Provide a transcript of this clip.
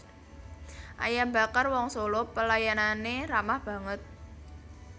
Ayam Bakar Wong Solo pelayanane ramah banget